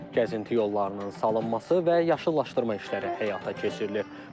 Gəzinti yollarının salınması və yaşıllaşdırma işləri həyata keçirilir.